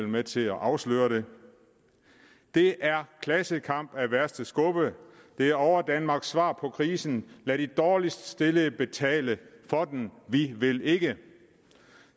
med til at afsløre det det er klassekamp af værste skuffe det er overdanmarks svar på krisen lad de dårligst stillede betale for den vi vil ikke